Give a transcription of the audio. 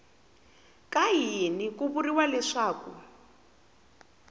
ka yini ku vuriwa leswaku